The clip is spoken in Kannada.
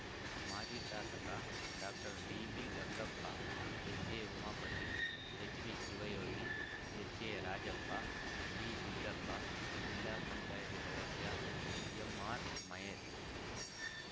ಮಾಜಿ ಶಾಸಕ doctor dB Gangappa ಎಚ್‌ಎಉಮಾಪತಿ H B Shivayogi ಎಚ್‌ಎರಾಜಪ್ಪ B Siddappa ಜಿಲ್ಲಾ ಪಂಚಾಯತಿ ಸದಸ್ಯ ಎಂಆರ್‌ ಮಹೇಶ್‌